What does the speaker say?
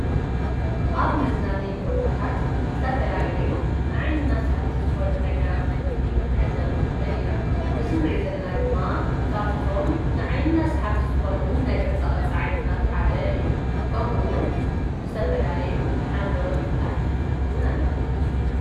ኣብ መዝናነዪ ቦታታት ዝተፈላለዩ ንዓይንና ሰሓብቲ ዝኾኑ ነገራት ክርእይን ክንዕዘብን ንኽእልን ኢና፡፡ እዚ ንሪኦ ዘለና ድማ ካብቶም ንዓንና ሰሓብቲ ዝኾኑ ናይ ቅርፃቅርፂ ዓይነታት ሓደ እዩ፡፡ ከምኡ ውን ብዝተፈላለዩ ሓምለዎት ኣትክልትታት እውን ኣለው፡፡